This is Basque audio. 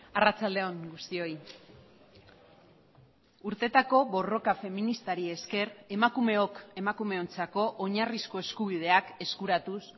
arratsalde on guztioi urteetako borroka feministari esker emakumeok emakumeontzako oinarrizko eskubideak eskuratuz